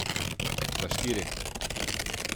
Za štiri.